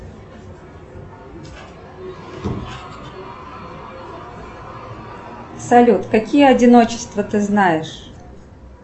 салют какие одиночества ты знаешь